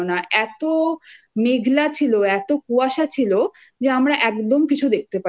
পেয়েছে কিন্তু আমাদের সময়টা একদম ছিল না এতো মেঘলা